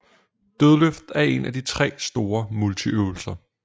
Dødløft er en af de tre store multiøvelser